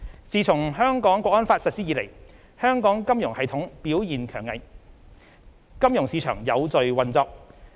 自從《香港國安法》實施以來，香港金融系統表現強韌，金融市場有序運作。